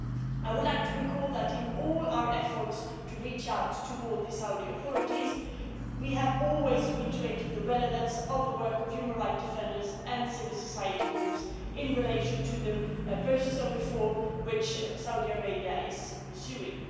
I would like to recall that in all our efforts to reach out towards the Saudi authorities we have always reiterated the relevance of the work of human rights defenders and civil society groups in relation to the process of reform which Saudi Arabia is pursuing.